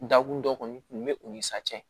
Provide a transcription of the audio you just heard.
Dakun dɔ kɔni kun bɛ o ni sa cɛ